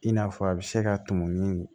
I n'a fɔ a bɛ se ka tumu ni